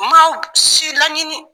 N m'aw si laɲini